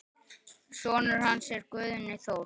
Sonur hans er Guðni Þór.